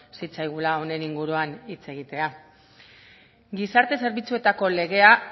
zitzaigula honen inguruan hitz egitea gizarte zerbitzuetako legea